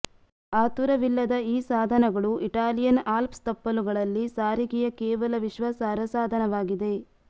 ಆತುರವಿಲ್ಲದ ಈ ಸಾಧನಗಳು Italian Alps ತಪ್ಪಲುಗಳಲ್ಲಿ ಸಾರಿಗೆಯ ಕೇವಲ ವಿಶ್ವಾಸಾರ್ಹ ಸಾಧನವಾಗಿದೆ